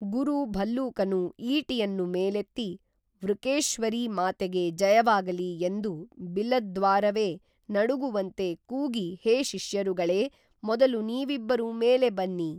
ಗುರು ಭಲ್ಲೂಕನು ಈಟಿಯನ್ನು ಮೇಲೆತ್ತಿ ವೃಕೇಶ್ವರೀ ಮಾತೆಗೆ ಜಯವಾಗಲಿ ಎಂದು ಬಿಲದ್ವಾರವೇ ನಡುಗುವಂತೆ ಕೂಗಿ ಹೇ ಶಿಷ್ಯರುಗಳೇ, ಮೊದಲು ನೀವಿಬ್ಬರೂ ಮೇಲೆ ಬನ್ನಿ